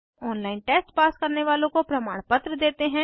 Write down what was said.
online test pass करने वालों को प्रमाणपत्र देते हैं